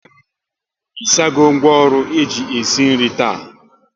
Ị sago ngwaọrụ eji esi nri taa?